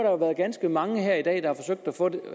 jo ganske mange der i dag har forsøgt at få et